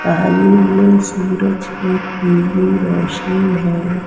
पानी में सूरज की पीली रोशनी है।